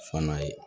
Fana ye